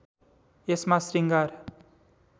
यसमा श्रृंगार